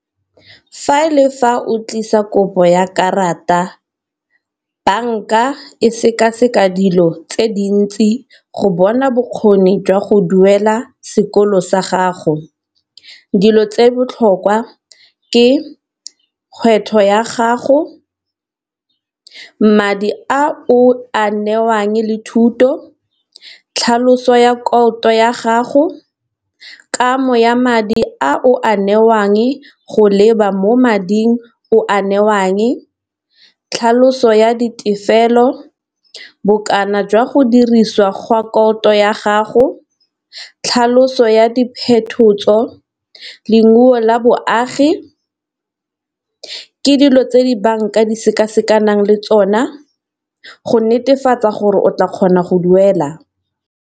Fa le fa o tlisa kopo ya karata banka e seka-seka dilo tse dintsi go bona bokgoni jwa go duela sekolo sa gago dilo tse botlhokwa ke ya gago, madi a o a newang le thuto, tlhaloso ya ya gago, kamo ya madi a o a newang go leba mo mading o a newang, tlhaloso ya ditefelelo, bokana jwa go dirisiwa gwa ya gago, tlhaloso ya la boagi, ke dilo tse di bank a di seka-sekanang le tsona go netefatsa gore o tla kgona go duela.